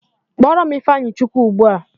Kpọrọ m ịfeanyịchukwu ugbua!